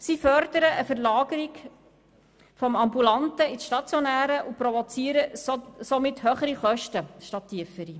Sie fördern eine Verlagerung vom ambulanten in den stationären Bereich und provozieren somit höhere statt tiefere Kosten.